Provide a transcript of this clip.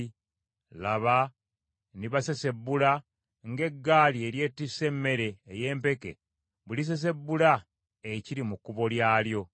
“Laba, ndibasesebbula ng’eggaali eryettisse ebinywa by’emmere ey’empeke bwe lisesebbula ekiri mu kkubo lyalyo.